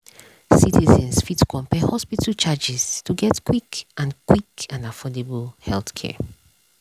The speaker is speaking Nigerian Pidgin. citizens fit compare hospital charges to get quick and quick and affordable healthcare.